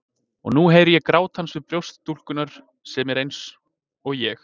Og nú heyri ég grát hans við brjóst stúlkunnar sem er eins- og ég.